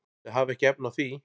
Þau hafa ekki efni á því.